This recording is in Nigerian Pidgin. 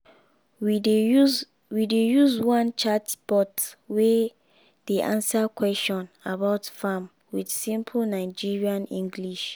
we dey use we dey use one chatbot wey dey answer question about farm with simple nigerian english.